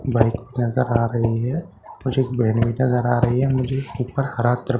bike नज़र आ रही है मुझे एक बेन भी नज़र आ रही है मुझे इसके ऊपर हरा त्रिपाल--